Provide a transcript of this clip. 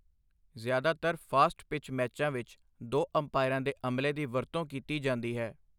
ਜ਼ਿਆਦਾਤਰ fast pitch ਮੈਚਾਂ ਵਿੱਚ ਦੋ ਅੰਪਾਇਰਾਂ ਦੇ ਅਮਲੇ ਦੀ ਵਰਤੋਂ ਕੀਤੀ ਜਾਂਦੀ ਹੈ।